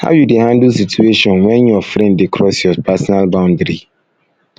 how you dey handle situation when your friend dey cross your personal boundary